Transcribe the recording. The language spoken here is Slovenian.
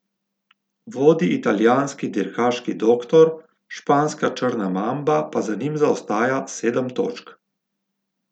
Vodi italijanski dirkaški doktor, španska črna mamba pa za njim zaostaja sedem točk.